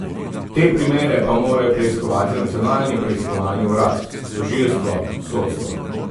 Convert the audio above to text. Te primere pa morajo preiskovati Nacionalni preiskovalni urad, tožilstvo, sodstvo.